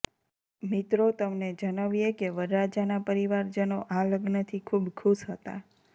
મિત્રો તમને જનવીયે કે વરરાજાના પરિવારજનો આ લગ્નથી ખૂબ ખુશ હતા